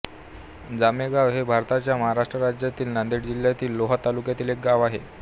जोमेगाव हे भारताच्या महाराष्ट्र राज्यातील नांदेड जिल्ह्यातील लोहा तालुक्यातील एक गाव आहे